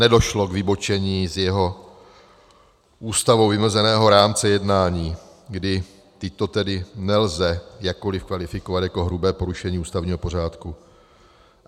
Nedošlo k vybočení z jeho Ústavou vymezeného rámce jednání, kdy tyto tedy nelze jakkoli kvalifikovat jako hrubé porušení ústavního pořádku.